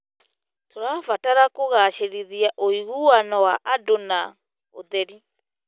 Tũrabatara kũgacĩrithia ũiguano wa andũ na ũtheri.